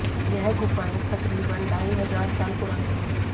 यह गुफाये तकरीबन ढाई हजार साल पुराने हैं